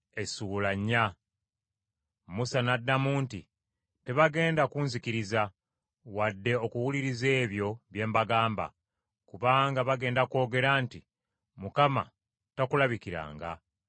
Musa n’addamu nti, “Tebagenda kunzikiriza, wadde okuwuliriza ebyo bye mbagamba: kubanga bagenda kwogera nti, Mukama takulabikiranga.”